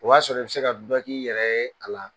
O y'a sɔrɔ i bɛ se ka du k'i yɛrɛ ye a la